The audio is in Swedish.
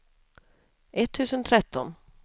etttusen tretton